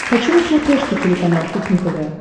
хочу на смотрешке телеканал кухня тв